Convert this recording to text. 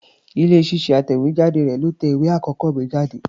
Ilé-iṣẹ́ atẹ̀wétà rẹ̀ ló tẹ ìwé àkọ́kọ́ mi jáde.